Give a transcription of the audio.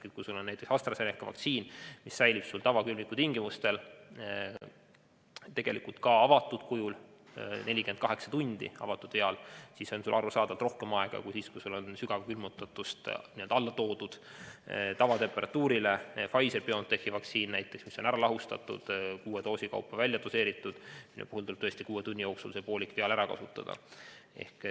Kui sul on näiteks AstraZeneca vaktsiin, mis säilib tavakülmiku tingimustel ka avatud viaalis 48 tundi, siis on sul arusaadavalt rohkem aega kui siis, kui sul on sügavkülmutatud kujult tavatemperatuurile soojendatud viaal ehk näiteks Pfizer/BioNTechi vaktsiin, mis on ära lahustatud ja kuue doosi kaupa välja doseeritud ning mille puhul tuleb poolik viaal kuue tunni jooksul ära kasutada.